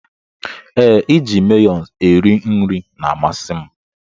Ee, iji mayones eri nri na-amasi m.